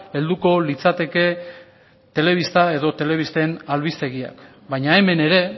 helduko litzateke telebista edo telebisten albistegiak baina hemen ere